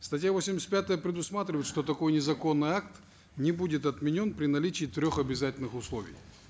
статья восемьдесят пятая предусматривает что такой незаконный акт не будет отменен при наличии трех обязательных условий